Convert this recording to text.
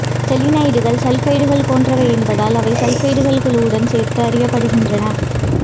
செலீனைடுகள் சல்பைடுகள் போன்றவை என்பதால் அவை சல்பைடுகள் குழுவுடன் சேர்த்து அறியப்படுகின்றன